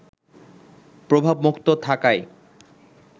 প্রভাবমুক্ত থাকায়